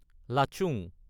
Lachung